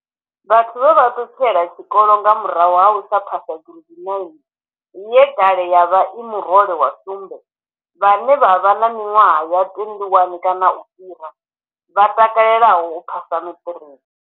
Vhathu vhe vha ṱutshela tshikolo nga murahu ha u phasa gireidi 9, ye kale yo vha i murole wa sumbe, vhane vha vha na miṅwaha ya 21 kana u fhira, vha takalelaho u phasa maṱiriki.